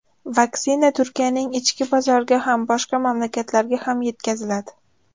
Vaksina Turkiyaning ichki bozoriga ham, boshqa mamlakatlarga ham yetkaziladi.